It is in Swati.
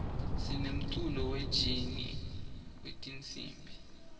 sinemculo we jeni wetinsimb